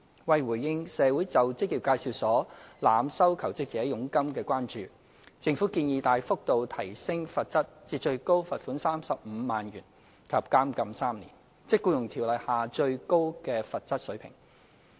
為回應社會就職業介紹所濫收求職者佣金的關注，政府建議大幅提高罰則至最高罰款35萬元及監禁3年，即《僱傭條例》下最高的罰則水平。